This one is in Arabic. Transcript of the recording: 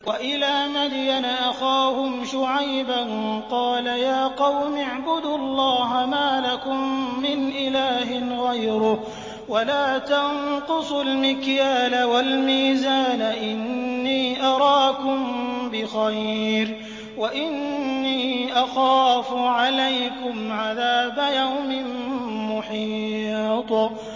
۞ وَإِلَىٰ مَدْيَنَ أَخَاهُمْ شُعَيْبًا ۚ قَالَ يَا قَوْمِ اعْبُدُوا اللَّهَ مَا لَكُم مِّنْ إِلَٰهٍ غَيْرُهُ ۖ وَلَا تَنقُصُوا الْمِكْيَالَ وَالْمِيزَانَ ۚ إِنِّي أَرَاكُم بِخَيْرٍ وَإِنِّي أَخَافُ عَلَيْكُمْ عَذَابَ يَوْمٍ مُّحِيطٍ